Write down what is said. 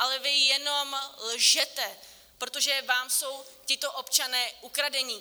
Ale vy jenom lžete, protože vám jsou tito občané ukradení.